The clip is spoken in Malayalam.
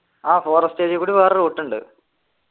ആഹ് forest area കൂടി വേറെ route ഉണ്ട്